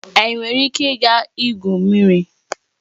Anyị nwere ike ịga igwu mmiri